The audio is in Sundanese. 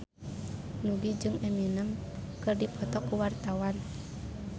Nugie jeung Eminem keur dipoto ku wartawan